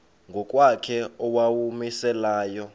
ngokwakhe owawumise layo